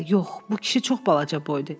Bu kişi çox balaca boy idi.